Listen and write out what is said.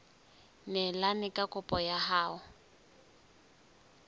neelane ka kopo ya hao